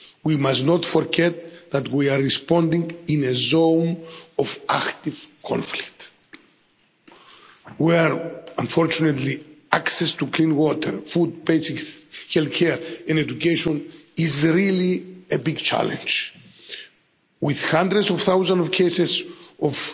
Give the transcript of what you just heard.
We must not forget that we are responding in a zone of active conflict where, unfortunately, access to clean water, food, basic healthcare and education is really a big challenge, with hundreds of thousands of cases